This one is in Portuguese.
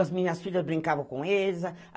As minhas filhas brincavam com eles.